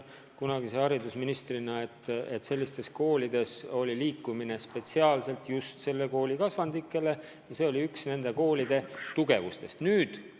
Kunagise haridusministrina ma tean, et sellistes koolides on välja töötatud spetsiaalselt just konkreetse kooli kasvandikele jõukohane liikumistegevus ja see on üks nende koolide suurtest plussidest.